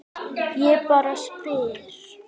Ég bara spyr